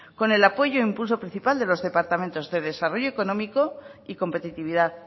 con el apoyo e impulso principal de los departamentos de desarrollo económico y competitividad